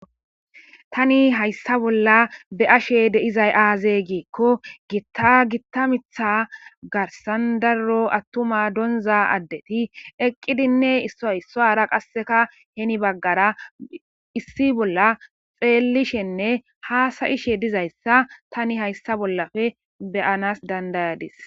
Tani hayssa bolla be'ashe de'izay aaze giikko giitta gitta mitha garsan daro attuma doniza addeti eqqidinne issaara qasseka heni baggara issi bolla xeellishenne haasayishe diza issa tani hayssa bollappe beyanas dandayis.